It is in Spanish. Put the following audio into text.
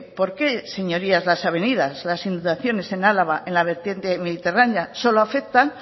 porque señorías las avenidas las inundaciones en álava en la vertiente mediterránea solo afectan